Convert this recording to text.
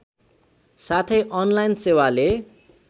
साथै अनलाइन सेवाले